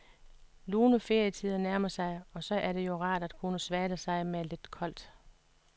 Lune ferietider nærmer sig, og så er det jo rart at kunne svale sig med lidt koldt.